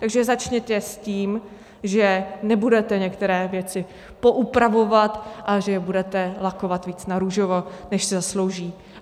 Takže začněte s tím, že nebudete některé věci poupravovat a že je budete lakovat víc narůžovo, než si zaslouží.